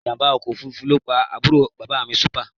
Ìjàmbá ọkọ̀ òfuurufú ló pa àbúrò bàbá mi Súpà